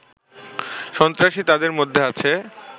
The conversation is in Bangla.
সন্ত্রাসী তাদের মধ্যে আছে